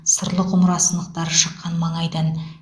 сырлы құмыра сынықтары шыққан маңайдан